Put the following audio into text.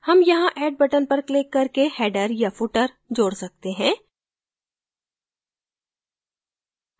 हम यहाँ add buttons पर क्लिक करके header या footer जोड़ सकते हैं